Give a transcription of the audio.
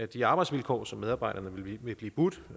de arbejdsvilkår som medarbejderne vil blive budt